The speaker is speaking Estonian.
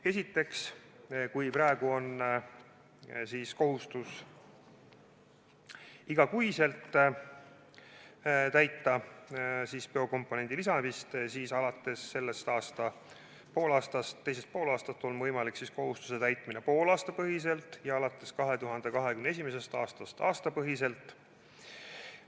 Esiteks, praegu tuleb biokomponendi lisamise kohustust täita kuupõhiselt, ent alates selle aasta teisest poolest on kohustust võimalik täita poolaastapõhiselt ja alates 2021. aastast aastapõhiselt.